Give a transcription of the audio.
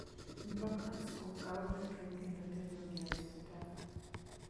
Mtok resruok kawo jotuo kendo terogi e osiptal.